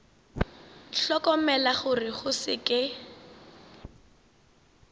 hlokomela gore go se ke